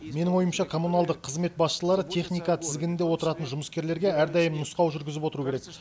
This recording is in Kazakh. менің ойымша коммуналдық қызмет басшылары техника тізгінінде отыратын жұмыскерлерге әрдайым нұсқау жүргізіп отыруы керек